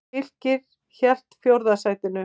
Fylkir hélt fjórða sætinu